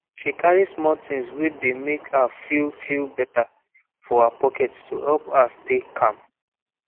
she carry small thing wey dey make her feel feel better for her pocket to help her stay calm